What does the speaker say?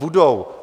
Budou.